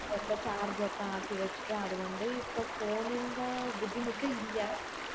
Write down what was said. ഒക്കെ charge ഒക്കെ ആക്കി വച്ചിട്ട് അത് കൊണ്ട് ഇപ്പൊ phone ൻറെ ബുദ്ധിമുട്ട് ഇല്ല